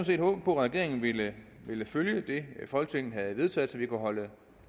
set håbet på at regeringen ville ville følge det folketinget havde vedtaget så vi kunne holde